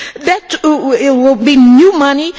That will be new money.